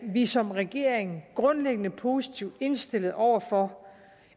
vi som regering grundlæggende positivt indstillet over for